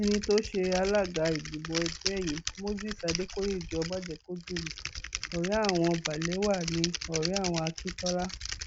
ẹni tó ṣe alága ìgbìmọ ẹgbẹ yìí moses adékòyéjọ májèkọdùnmí ọrẹ àwọn balewa ní ọrẹ àwọn akíntola